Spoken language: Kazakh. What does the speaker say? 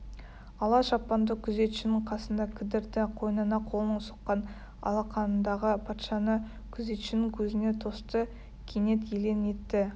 ала шапанды күзетшінің қасында кідірді қойнына қолын сұққан алақанындағы патшаны күзетшінің көзіне тосты кенет елең етті